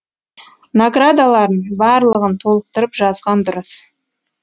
наградаларын барлығын толықтырып жазған дұрыс